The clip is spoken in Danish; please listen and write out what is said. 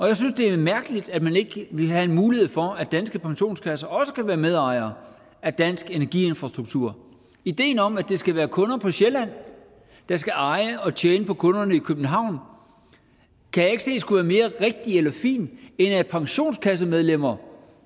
jeg synes det er mærkeligt at man ikke vil have en mulighed for at danske pensionskasser også kan være medejere af dansk energiinfrastruktur ideen om at det skal være kunder på sjælland der skal eje og tjene på kunderne i københavn kan jeg ikke se skulle være mere rigtig eller fin end at pensionskassemedlemmer